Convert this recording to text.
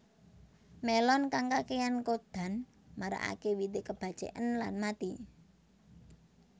Melon kang kakéyan kodan marakaké wite kebaceken lan mati